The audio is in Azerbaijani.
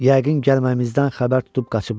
Yəqin gəlməyimizdən xəbər tutub qaçıblar.